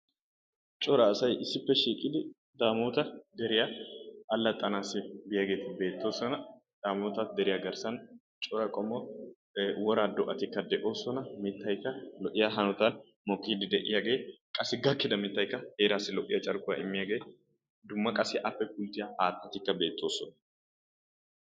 Cora asay issippe shiiqidi Daamoota deriya allaxxanawu biyageeti beettoosona. Daamoota deriya garssan cora qommo woraa do'atikka de'oosona. Mittaykka lo'iya hanotan de'iyagee qassikka gakkiiddi de'iyageekkaa heeraassi lo'iya carkkuwa immiyagee dumma qassi appe guuxxiya acatikka beettoosona.